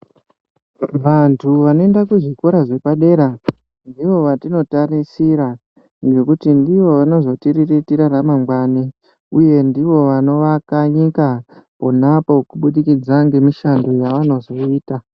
Vantu vanoenda kuzvikora zvepadera ndivo vatinotarisira ngekuti ndivo vanozotiriritira ramangwani. Uye ndivo vanovaka nyika pona apo, kubudikidza ngemishando yavanozoita.